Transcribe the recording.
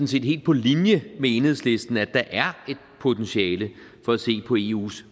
set helt på linje med enhedslisten at der er et potentiale for at se på eus